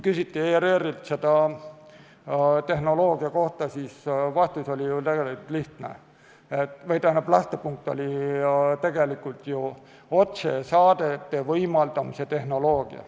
Kui ERR-ilt küsiti tehnoloogia kohta, siis lähtepunkt oli ju otsesaadete võimaldamise tehnoloogia.